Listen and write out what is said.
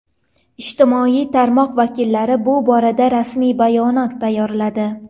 Ijtimoiy tarmoq vakillari bu borada rasmiy bayonot tayyorladi.